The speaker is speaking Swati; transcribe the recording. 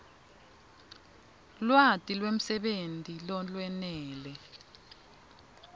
lwati lwemsebenti lolwenele